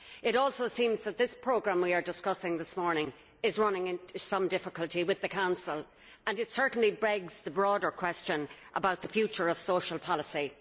It also seems that this programme we are discussing this morning is running into some difficulty with the Council and it certainly begs the broader question about the future of social policy.